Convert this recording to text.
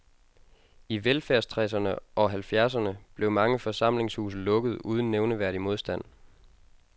I velfærdstreserne og halvfjerdserne blev mange forsamlingshuse lukket uden nævneværdig modstand.